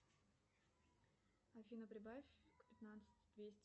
афина прибавь к пятнадцати двести